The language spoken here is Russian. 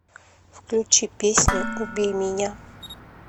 включи песню убей меня